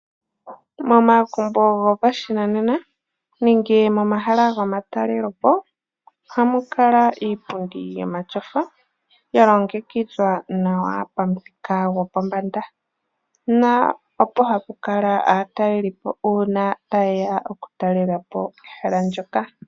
Momagumbo gopashinanena nenge momahala gomatalelepo oha mu kala iipundi yomatyofa ya longekidhwa nawa pamuthika gopombanda na opo hapu kala aatalelipo uuna ta yeya okutalelapo ehala ndyoka.